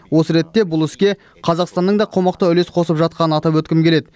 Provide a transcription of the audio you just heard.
осы ретте бұл іске қазақстанның да қомақты үлес қосып жатқанын атап өткім келеді